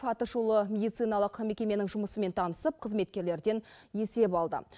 атышулы медициналық мекеменің жұмысымен танысып қызметкерлерден есеп алды